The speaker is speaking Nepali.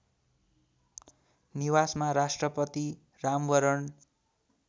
निवासमा राष्ट्रपति रामवरण